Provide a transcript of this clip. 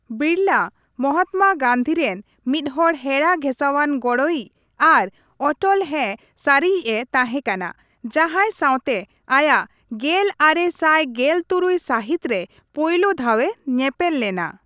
ᱵᱤᱨᱞᱟ ᱢᱟᱦᱟᱛᱢᱟ ᱜᱟᱹᱱᱫᱤ ᱨᱮᱱ ᱢᱤᱫᱦᱚᱲ ᱦᱮᱬᱟᱜᱷᱮᱥᱟᱣᱟᱱ ᱜᱚᱲᱚᱭᱤᱡᱽ ᱟᱨ ᱚᱴᱚᱞ ᱦᱮᱸ ᱥᱟᱹᱨᱤᱭᱤᱡᱽᱼᱮ ᱛᱟᱦᱮᱸ ᱠᱟᱱᱟ, ᱡᱟᱦᱟᱸᱭ ᱥᱟᱣᱛᱮ ᱟᱭᱟᱜ ᱜᱮᱞ ᱟᱨᱮ ᱥᱟᱭ ᱜᱮᱞ ᱛᱩᱨᱩᱭ ᱥᱟᱹᱦᱤᱛ ᱨᱮ ᱯᱳᱭᱞᱳ ᱫᱷᱟᱣᱮ ᱧᱮᱯᱮᱞ ᱞᱮᱱᱟ ᱾